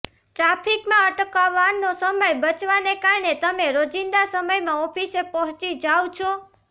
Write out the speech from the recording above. ટ્રાફિકમાં અટકવાનો સમય બચવાને કારણે તમે રોજિંદા સમયમાં ઓફિસે પહોંચી જાઓ છો